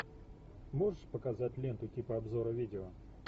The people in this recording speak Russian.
можешь показать ленту типа обзора видео